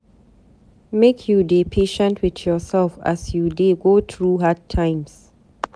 Make you dey patient wit yoursef as you dey go through hard times.